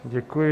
Děkuji.